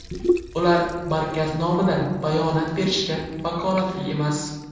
Ular markaz nomidan bayonot berishga vakolatli emas.